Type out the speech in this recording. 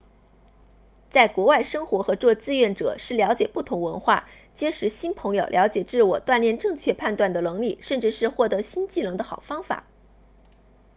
在国外生活和做志愿者是了解不同文化结识新朋友了解自我锻炼正确判断的能力甚至是获得新技能的好方法